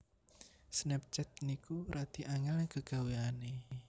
Snapchat niku radi angel gegaweane